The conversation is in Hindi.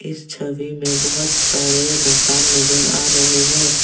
इस छवि में बहोत सारे मकान नजर आ रहे हैं।